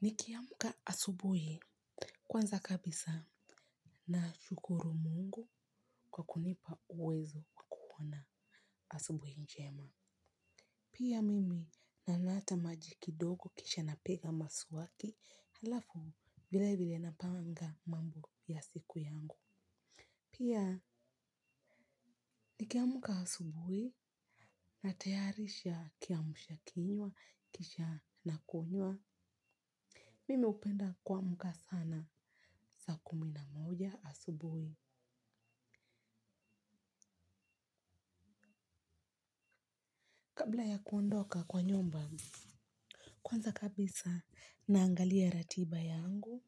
Nikiamka asubuhi kwanza kabisa nashukuru mungu kwa kunipa uwezo wa kuona asubuhi njema. Pia mimi naleta maji kidogo kisha napiga mswaki halafu vile vile napanga mambo ya siku yangu. Pia nikiamka asubuhi natayarisha kiamsha kinywa kisha nakunywa. Mimi hupenda kuamka sana saa kumi na moja asubuhi. Kabla ya kuondoka kwa nyumba kwanza kabisa naangalia ratiba yangu.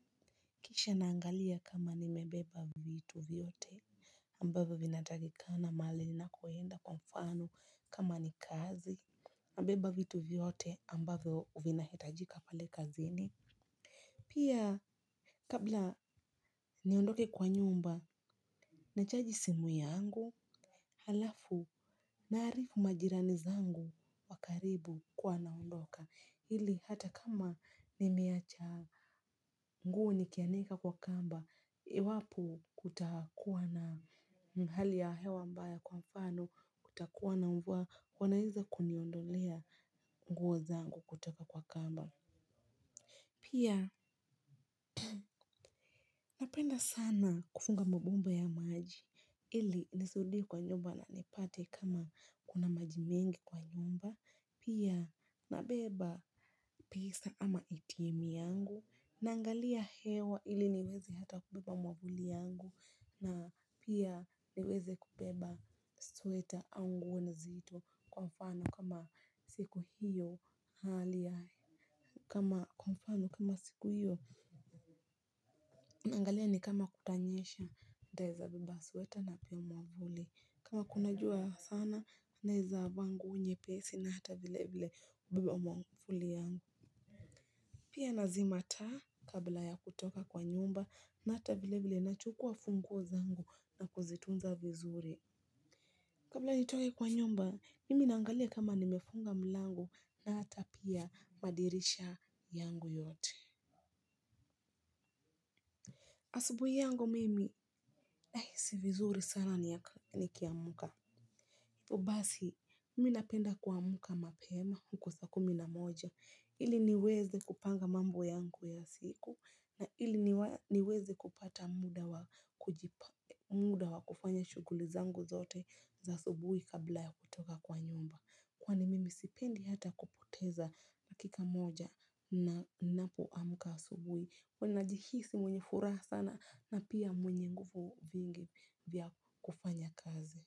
Kisha naangalia kama nimebeba vitu vyote ambavyo vinatakikana mahali ninakoenda kwa mfano kama ni kazi nabeba vitu vyote ambavyo vinahitajika pale kazini. Pia kabla niondoke kwa nyumba nachaji simu yangu halafu naarifu majirani zangu wa karibu kuwa naondoka ili hata kama nimeacha nguo nikianika kwa kamba iwapo kutakuwa na hali ya hewa mbaya kwa mfano kutakuwa na mvua wanwaeza kuniondolea nguo zangu kutoka kwa kamba pia napenda sana kufunga mabomba ya maji ili nisirudi kwa nyumba na nipate kama kuna majimengi kwa nyumba pia nabeba pesa ama atm yangu. Naangalia hewa ili niweze hata kubeba mwavuli yangu na pia niweze kubeba sweta au nguo nzito kwa mfano kama siku hiyo hali ya kama kwa mfano kama siku hiyo naangalia ni kama kutanyesha nitaeza beba sweta na pia mwavuli kama kuna jua sana naeza vaa nguo nyepesi na hata vile vile kubeba mwavuli yangu. Pia nazima taa kabla ya kutoka kwa nyumba na hata vile vile nachukua funguo zangu na kuzitunza vizuri. Kabla nitoke kwa nyumba, mimi naangalia kama nimefunga mlango na hata pia madirisha yangu yote. Asubuhi yangu mimi, nahisi vizuri sana nikiamka. Basi, mimi napenda kuamka mapema huko saa kumi na moja, ili niweze kupanga mambo yangu ya siku na ili niweze kupata muda wa kujipa, muda wa kufanya shughuli zangu zote za asubuhi kabla ya kutoka kwa nyumba. Kwani mimi sipendi hata kupoteza dakika moja ninapo amka asubuhi, huwa nina jihisi mwenye furaha sana na pia mwenye nguvu vingi vya kufanya kazi.